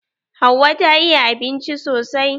Hauwa ta iya abinci sosai.